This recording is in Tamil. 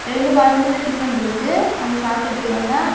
இரண்டு பாத்திரத்தில டிபன் இருக்கு அவுங்க சாப்பிட்டுட்டு இருக்காங்க.